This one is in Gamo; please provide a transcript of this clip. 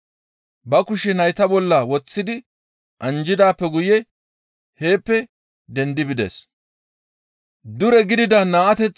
Ba kushe nayta bolla woththidi anjjidaappe guye heeppe dendi bides.